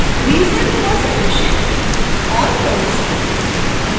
reason for suggestion: और notes: